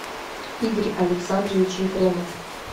игорь александрович ефремов